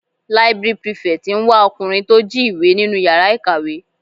Library prefect ń wá ọkùnrin tí ó jí ìwé nínú yàrá ìkàwé.